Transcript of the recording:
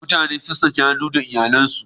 Mutanen sun sake haduwa da iyalansu.